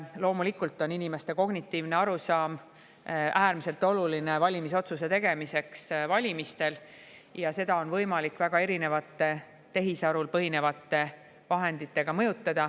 Loomulikult on inimeste kognitiivne arusaam valimistel otsuse tegemiseks äärmiselt oluline ja seda on võimalik väga erinevate tehisarul põhinevate vahenditega mõjutada.